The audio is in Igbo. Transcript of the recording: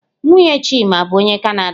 Nwunye Chima bụ onye Kanada.